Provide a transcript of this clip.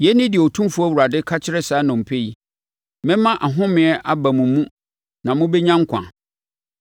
Yei ne deɛ Otumfoɔ Awurade ka kyerɛ saa nnompe yi: Mɛma ahomeɛ aba mo mu na mobɛnya nkwa.